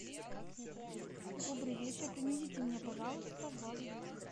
добрый вечер принесите мне пожалуйста вазу для цветов